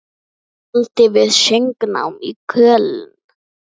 Dvaldi við söngnám í Köln.